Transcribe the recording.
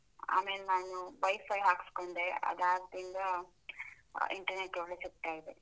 ಆಮೇಲ್ ನಾನು Wi-Fi ಹಾಕಿಸ್ಕೊಂಡ, ಅದಾದ್ರಿಂದ internet ಒಳ್ಳೆ ಸಿಗ್ತಾ ಇದೆ.